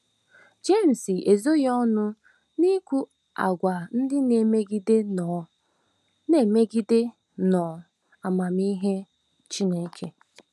Jems ezoghị ọnụ n’ikwu àgwà ndị na - emegide nnọọ - emegide nnọọ amamihe Chineke.